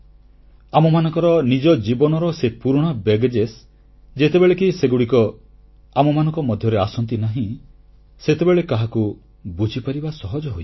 ଆମମାନଙ୍କର ନିଜ ଜୀବନର ସେ ପୁରୁଣା ବୋଝ ଯେତେବେଳେ କି ସେଗୁଡ଼ିକ ଆମମାନଙ୍କ ମଧ୍ୟରେ ଆସନ୍ତି ନାହିଁ ସେତେବେଳେ କାହାକୁ ବୁଝିପାରିବା ସହଜ ହୋଇଯାଏ